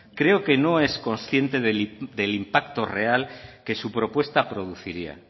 creo que no es consciente del impacto real que su propuesta produciría